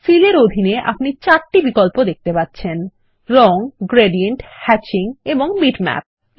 feel এর অধীনে আপনি 4টি বিকল্প দেখতে পাচ্ছেন রং গ্রেডিয়েন্ট হ্যাচিং এবং বিটম্যাপ